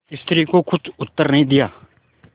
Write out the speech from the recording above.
स्त्री को कुछ उत्तर नहीं दिया